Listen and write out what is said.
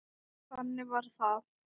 Og þannig varð það.